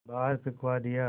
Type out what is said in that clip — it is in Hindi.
बाहर फिंकवा दिया